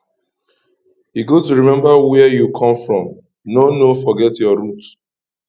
e good to remember where you come from no no forget your root